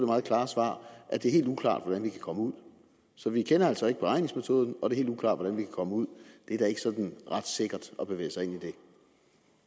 meget klare svar at det er helt uklart hvordan vi kan komme ud så vi kender altså ikke beregningsmetoden og det er helt uklart hvordan vi kan komme ud det er da ikke sådan ret sikkert at bevæge sig